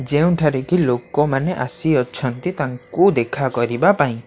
ଯେଉଁଠାରେ କି ଲୋକମାନେ ଆସିଅଛନ୍ତି ତାଙ୍କୁ ଦେଖାକରିବା ପାଇଁ।